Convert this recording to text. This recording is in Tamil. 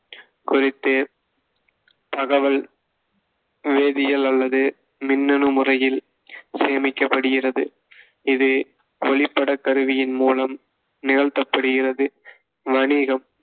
குறித்து தகவல் வேதியியல் அல்லது மின்னணு முறையில் சேமிக்கப்படுகிறது. இது ஒளிப்படக் கருவியின் மூலம் நிகழ்த்தப்படுகிறது. வணிகம்,